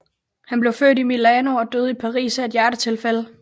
Han blev født i Milano og døde i Paris af et hjertetilfælde